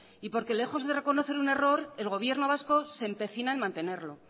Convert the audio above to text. y porque lejos de reconocer un error el gobierno vasco se empecina en mantenerlo